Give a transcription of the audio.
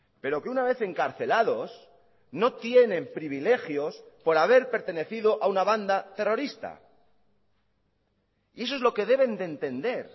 pero que una vez encarcelados no tienen privilegios por haber pertenecido a una banda terrorista y eso es lo que deben de entender